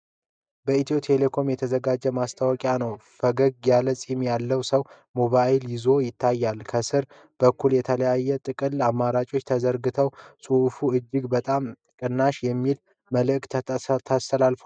በኢትዮ ቴሌኮም የተዘጋጀ ማስታወቂያ ነው። ፈገግ ያለ ፂም ያለው ሰው ሞባይል ይዞ ይታያል። ከስር በኩል የተለያዩ የጥቅል አማራጮች ተዘርዝረዋል፤ ጽሑፉ "እጅግ በጣም ቅናሽ!" የሚል መልዕክት አስተላልፏል